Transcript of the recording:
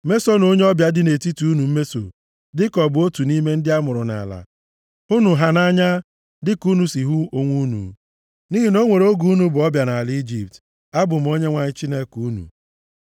Mesonụ onye ọbịa bi nʼetiti unu mmeso dịka ọ bụ otu nʼime ndị amụrụ nʼala. Hụnụ ha nʼanya dịka unu si hụ onwe unu, nʼihi na o nwere oge unu bụ ọbịa nʼala Ijipt. Abụ m Onyenwe anyị Chineke unu.